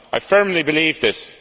I firmly believe this.